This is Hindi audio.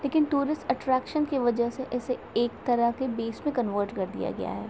लेकिन टूरिस्ट अट्रैक्शन की वजह से एक तरफ बीच में कन्वर्ट कर दिया गया है।